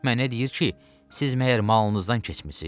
Mənə deyir ki, siz məyər malınızdan keçmisiz?